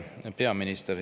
Hea peaminister!